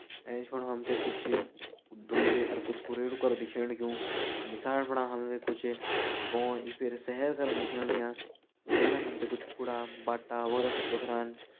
एंच फुंड हम त कुछ धुंद और कुछ कुरेरु क्र दिखेण लग्युं नीसाण फुणा हम त कुछ गों या फिर शहर करं दिखेण लग्यां जगता हम त कुछ कूड़ा बाटा व त कुछ टोकरान --